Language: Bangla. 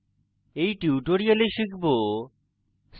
in tutorial শিখব